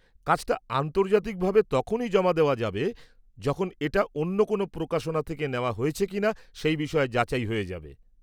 কাজটা আন্তর্জাতিকভাবে তখনই জমা দেওয়া যাবে যখন এটা অন্য কোনও প্রকাশনা থেকে নেওয়া হয়েছে কিনা সেই বিষয়ে যাচাই হয়ে যাবে।